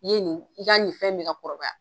I ye nin i ka nin fɛn mi ka kɔrɔbaya